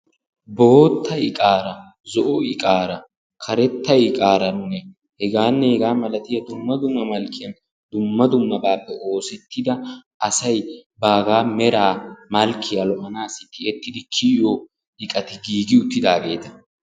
Bootta iqaara, zo"o iqaara, karetta iqaaranne hegaanne hegaa malatiya dumma dumma malkkiyan dumma dummabaappe oosettida asay baaga meraa malkkiya lo"anaassi tiyettidi kiyiyo iqati giigi uttidaageeta.